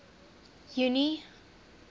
junie